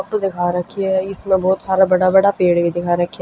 फोटू दिखा राखी ह इसमें बहुत सारा बड़ा बड़ा पेड़ भी दिखा राख्या हं।